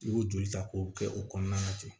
I b'o joli ta k'o kɛ o kɔnɔna na ten